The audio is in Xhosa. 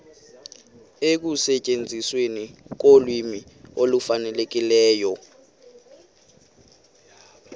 ekusetyenzisweni kolwimi olufanelekileyo